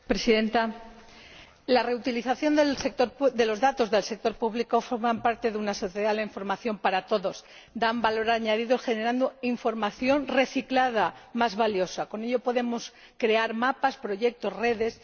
Señora Presidenta, la reutilización de los datos del sector público forma parte de una sociedad de la información para todos y da valor añadido generando información reciclada más valiosa con ello podemos crear mapas, proyectos, redes.